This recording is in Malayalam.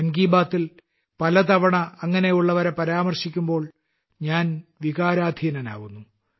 മൻ കി ബാത്തിൽ പലതവണ അങ്ങനെ ഉള്ളവരെ പരാമർശിക്കുമ്പോൾ ഞാൻ വികാരാധീനനാവുന്നു